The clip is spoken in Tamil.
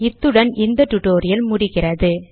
இத்துடன் இந்த டுடோரியல் முடிகிறது